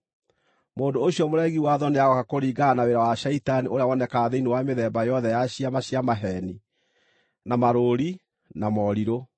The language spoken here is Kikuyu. Mũndũ ũcio mũregi watho nĩagooka kũringana na wĩra wa Shaitani ũrĩa wonekaga thĩinĩ wa mĩthemba yothe ya ciama cia maheeni, na marũũri, na morirũ,